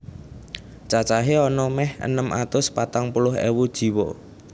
Cacahé ana mèh enem atus patang puluh ewu jiwa